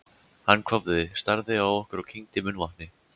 Hann hváði, starði á okkur og kyngdi munnvatni.